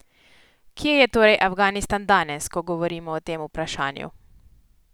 Kje je torej Afganistan danes, ko govorimo o tem vprašanju?